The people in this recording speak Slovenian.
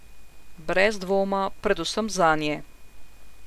Brez dvoma predvsem zanje.